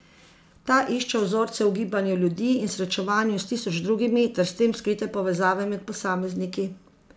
Ta išče vzorce v gibanju ljudi in srečevanju s tisoč drugimi ter s tem skrite povezave med posamezniki.